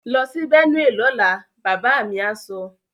Lọ sí Benue lọ́la! Bàbá mi á sọ.